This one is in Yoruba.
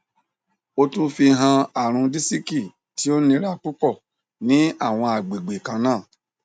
o tun fihan arun disiki ti o nira pupọ ni awọn agbegbe kanna